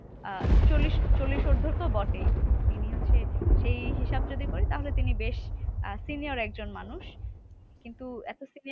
আহ চল্লিশ চল্লিশ উর্ধ তো বটেই। তিনি হচ্ছে সেই হিসাব যদি করি তাহলে তিনি বেশ আহ senior একজন মানুষ। কিন্তু এত